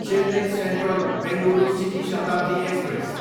Chennai central, Bengaluru city Shatabdi express